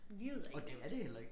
Livet er ikke nemt